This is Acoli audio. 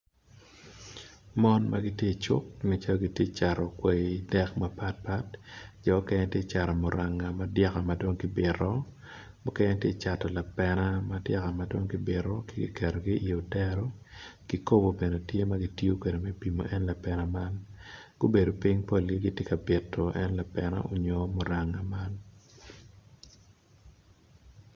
Mon ma gitye i cuk ma gitye ka cato kwai dek mapatpat, jo okene ticato muranga madyaka madong gibito mukene tye cato lapene madong kibito kiketo i odero kikobo bene tye ka ma kitiyo kwede me ki pimo kwede en lapena man, gubedo ping kun gitye ka bito en lapena onyo en muranga man.